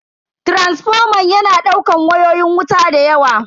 Taransifoman yana daukan wayoyin wuta dayawa.